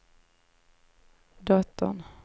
dottern